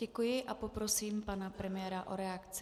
Děkuji a poprosím pana premiéra o reakci.